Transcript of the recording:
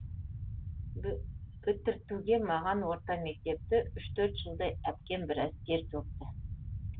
бітіртуге маған орта мектепті үш төрт жылдай әпкем біраз тер төкті